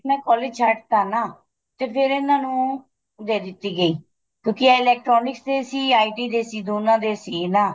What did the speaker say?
sir ਨੇ college ਛੱਡ ਤਾਂ ਨਾ ਤੇ ਫੇਰ ਇਹਨਾ ਨੂੰ ਦੇ ਦਿਤੀ ਗਈ ਕਿਉਂਕਿ ਇਹ electronic ਦੇ ਸੀ IT ਦੇ ਸੀ ਦੋਨਾ ਦੇ ਸੀ ਨਾ